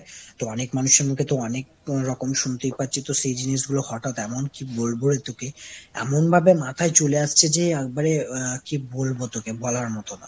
তো অনেক মানুষের মুখে তো অনেক রকম শুনতেই পাচ্ছি তো সেই জিনিসগুলো হঠাৎ এমন কি বলব রে তোকে? এমন ভাবে মাথায় চলে আসছে যে একেবারে উম কি বলবো তোকে বলার মত না।